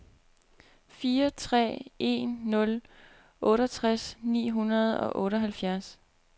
fire tre en nul otteogtres ni hundrede og otteoghalvfjerds